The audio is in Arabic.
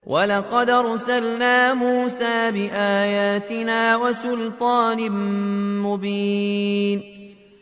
وَلَقَدْ أَرْسَلْنَا مُوسَىٰ بِآيَاتِنَا وَسُلْطَانٍ مُّبِينٍ